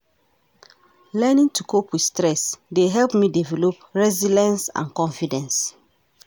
Learning to cope with stress dey help me develop resilience and confidence.